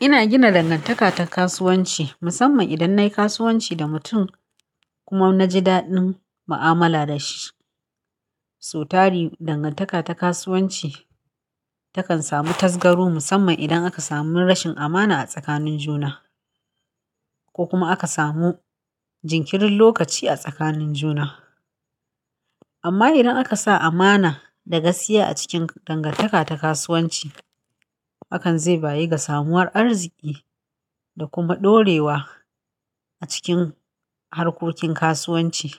Ina gina dangantaka ta kasuwanci musamman idan nayi kasuwanci da mutum kuma na ji daɗin mu'amala da shi. Sau tari, dangantaka ta kasuwanci takan samu tasgaru musamman idan aka samu rashin amana a tsakanin juna ko kuma aka samu jinkirin lokaci a tsakanin juna. Amma idan aka sa amana da gaskiya a cikin dangantaka ta kasuwanci, hakan zai bayi ga samawar arziki da kuma ɗorewa a cikin harkokin kasuwanci.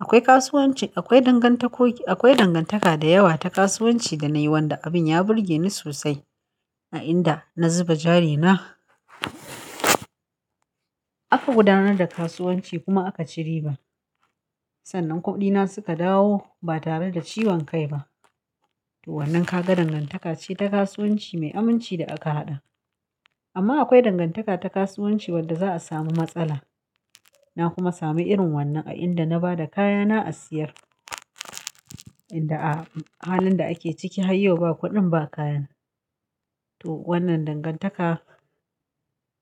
Akwai kasuwanci, akwai dangantako, akwai dangantaka da yawa ta kasuwanci da nayi wanda abin ya burge ni sosai a inda na zuba jari na aka gudanar da kasuwanci kuma aka ci riba. Sannan kuɗina suka dawo ba tare da ciwon kai ba. To wannan kaga dangantaka ce ta kasuwanci mai aminci da aka haɗa. Amma akwai dangantaka ta kasuwanci wadda za a samu matsala. Na kuma sami irin wannan a inda na ba da kayana a siyar. Inda a halin da ake ciki har yau ba kuɗin ba kayan. To wannan dangantaka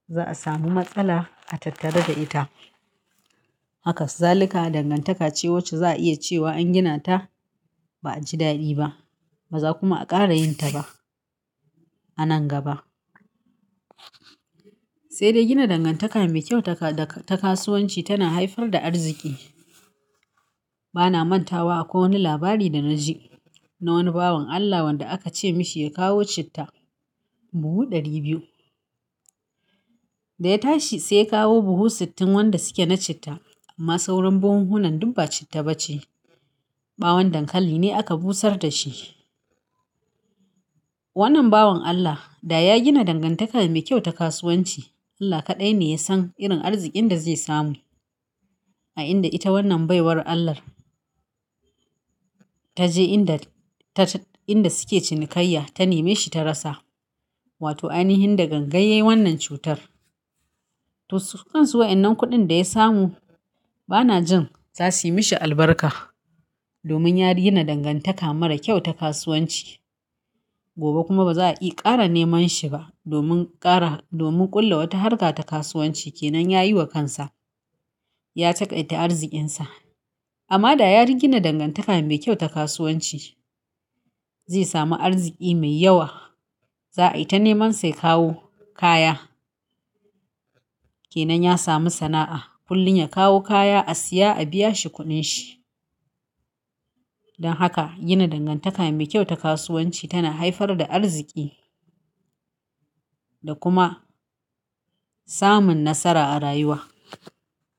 za a samu matsala a tattare da ita. Haka zalika dangantaka ce wacce za a iya cewa an gina ta ba a ji daɗi ba. Ba za kuma a ƙara yin ta ba a nan gaba. Sai dai gina dangantaka mai kyau ta kaɗa ta kasuwanci tana haifar da arziki. Bana manta wa akwai wani labari da na ji na wani bawan Allah wanda aka ce mishi ya kawo citta buhu ɗari biyu. Da ya tashi sai ya kawo buhu sittin wanda suke na citta amma sauran buhuhunan duk ba citta ba ce. Ɓawon dankali ne aka busar da shi. Wannan bawan Allah da ya gina dangantaka mai kyau ta kasuwanci, Allah kaɗai ne ya san irin arzikin da zai samu. A inda ita wannan baiwar Allah ta je inda ta ta inda suke cinikayya ta neme shi ta rasa. Wato ai nihin da gangan yai wannan cutar. To sukan suwa wannan kuɗin da ya samu bana jin za su yi mishi albarka domin ya gina dangantaka mara kyau ta kasuwanci. Gobe kuma ba za a iya ƙara neman shi ba domin ƙara domin ƙulla wata harka ta kasuwanci kenan ya yi wa kansa. Ya taƙaita arzikinsa. Amma da ya gina dangantaka mai kyau ta kasuwanci, zai sami arziki mai yawa. Za a yi ta neman sa ya kawo kaya. Kenan ya sami sana'a kullum ya kawo kaya a siya a biya shi kuɗin shi. Don haka gina dangantaka mai kyau ta kasuwanci tana haifar da arziki da kuma samun nasara a rayuwa.